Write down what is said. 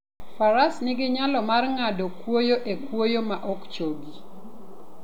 Faras nigi nyalo mar ng'ado kwoyo e kwoyo ma ok chogi.